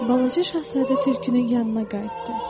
Balaca Şahzadə tülkünün yanına qayıtdı.